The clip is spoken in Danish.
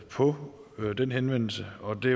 på på den henvendelse og det